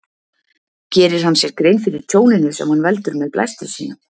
Gerir hann sér grein fyrir tjóninu sem hann veldur með blæstri sínum?